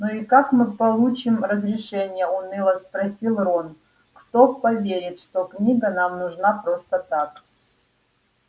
ну и как мы получим разрешение уныло спросил рон кто поверит что книга нам нужна просто так